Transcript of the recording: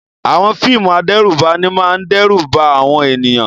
Àwọn fíìmù adẹ́rùbani máa ń dẹ́rù ba àwọn ènìyàn.